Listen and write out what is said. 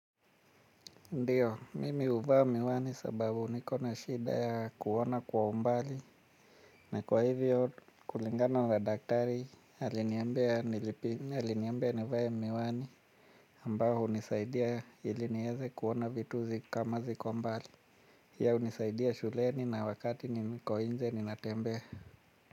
Ndiyo, mimi huvaa miwani sababu niko na shida ya kuona kwa umbali. Na kwa hivyo, kulingana na daktari aliniambia nivae miwani ambayo hunisaidia iliniweze kuona vitu kamaziko mbali hiyo hunisaidia shuleni na wakati niko inje ninatembea.